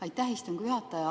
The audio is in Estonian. Aitäh, istungi juhataja!